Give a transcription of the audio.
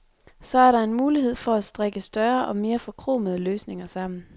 Så er der en mulighed for at strikke større og mere forkromede løsninger sammen.